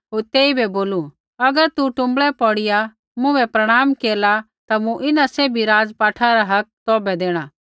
होर तेइबै बोलू अगर तू टुँबड़ै पौड़िया मुँभै प्रणाम केरला ता मूँ इन्हां सैभी राज़पाठा रा हक तौभै देणा